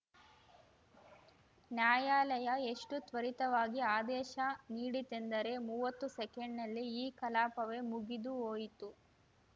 ನ್ಯಾಯಾಲಯ ಎಷ್ಟುತ್ವರಿತವಾಗಿ ಆದೇಶ ನೀಡಿತೆಂದರೆ ಮೂವತ್ತು ಸೆಕೆಂಡ್ನಲ್ಲೇ ಈ ಕಲಾಪವೇ ಮುಗಿದು ಹೋಯಿತು